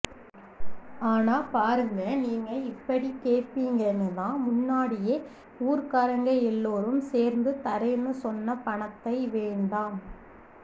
ஆனா பாருங்க நீங்க இப்பிடி கேப்பிங்கன்னு தான் முன்னாடியே ஊர்க்காரங்க எல்லோரும் சேர்ந்து தரேன்னு சொன்ன பணத்தை வேண்டாம்